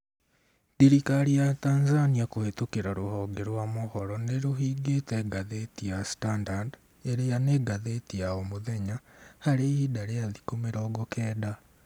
Thirikari ya Tanzania kũhĩtũkĩra rũhonge rwa mohoro nĩrũhingĩte ngathĩti ya Standard ĩrĩa nĩ ngathĩti ya o mũthenya , harĩ ihinda rĩa thikũ mĩrongo kenda